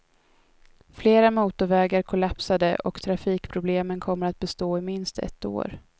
Flera motorvägar kollapsade, och trafikproblemen kommer att bestå i minst ett år.